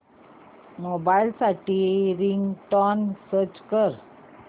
mobile साठी ringtone search कर